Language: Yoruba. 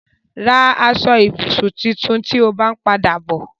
Ra aṣọ-ìbùsùn tuntun tí o bá ń padà bọ̀.